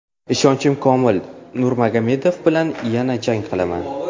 Ishonchim komil, Nurmagomedov bilan yana jang qilaman.